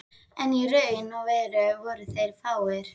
En í raun og veru voru þeir fáir.